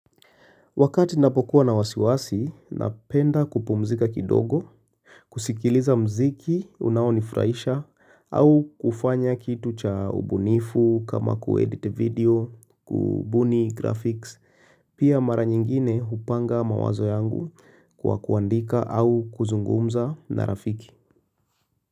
Wakati napokuwa na wasiwasi, napenda kupumzika kidogo, kusikiliza mziki, unaonifraisha, au kufanya kitu cha ubunifu kama kuedit video, kubuni graphics, pia mara nyingine hupanga mawazo yangu kwa kuandika au kuzungumza na rafiki.